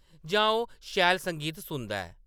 जां ओह्‌‌ शैल संगीत सुनदा ऐ ।